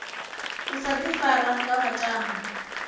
u sa ifara nga vhatambi